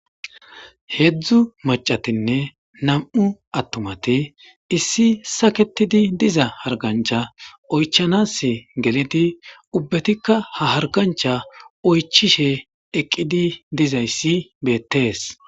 Heedzdzu macatinne nam7u attumate issi saketidi diza hargancha oychanas geleti ubbetikka ha hargancha oychishe eqqidi dizayssi beettees.